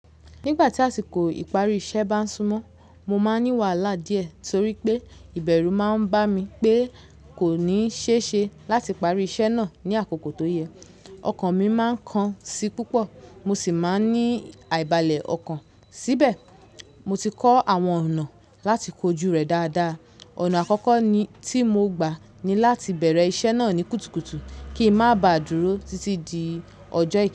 Nígbà tí àsìkò ìparí iṣẹ́ bá ń súnmọ́, mo máa ń ní wàhálà díẹ̀ torí pé ìbẹ̀rù máa ń bá mi pé kò ní ṣe é ṣe láti parí iṣẹ́ náà ní àkókò tó yẹ. Ọkàn mi máa ń kan sí púpọ̀ mo sì máa ń ní àìbalẹ̀ ọkàn. Síbẹ̀, mo ti kọ́ àwọn ọ̀nà láti kojú rẹ̀ dáadáa. Ọ̀nà àkọ́kọ́ tí mo gbà ni láti bẹ̀rẹ̀ iṣẹ́ náà ní kùtùkùtù kí n má ba dúró títí di ọjọ́